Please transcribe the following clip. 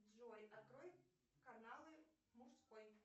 джой открой каналы мужской